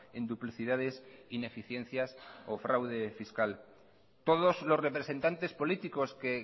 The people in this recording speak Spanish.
en duplicidades ineficiencias o fraude fiscal todos los representantes políticos que